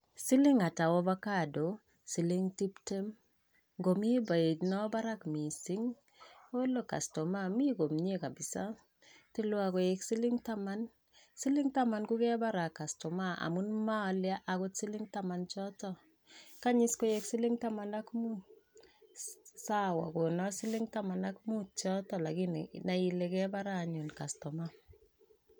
Siling ata Ovocado? siling tiptem. ngomi beit no barak mising? olo kastoma mi komie kabisa, tilwa koek siling taman, siling taman ko kebara kastoma amun moole akot siling taman choto, kany is koek siling taman ak mut, sawa kona siling taman ak mut choto lakin i nai ile kebara anyun kastomaa.